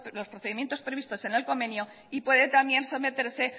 los procedimientos previstos en el convenio y puede también someterse